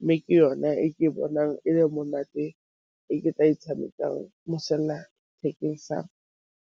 mme ke yone e ke bonang e le monate e ke tla e tshamekang mo sellathekeng .